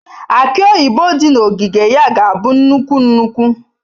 Aki oyibo dị na ogige ya ga-abụ nnukwu nnukwu.